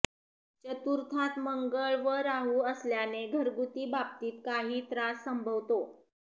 चतुर्थात मंगळ व राहू असल्याने घरगुती बाबतीत काही त्रास संभवतो